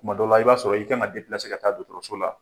Kumadɔ la, i b'a sɔrɔ i K' kan ka ka taa dɔgɔtɔrɔso la